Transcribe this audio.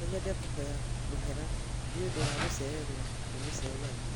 No nyende kuhoya mũhera nĩ ũndũ wa gũcererwo nĩ mũcemanio.